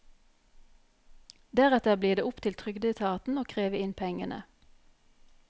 Deretter blir det opp til trygdeetaten å kreve inn pengene.